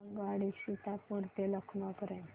आगगाडी सीतापुर ते लखनौ पर्यंत